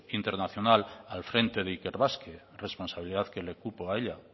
internacional al frente de ikerbasque responsabilidad que le cupo a ella